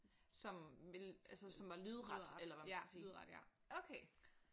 Som ville altså som var lydret eller hvad man skal sige okay